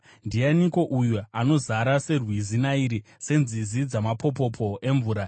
Ndianiko uyu anozara serwizi Nairi, senzizi dzamapopopo emvura?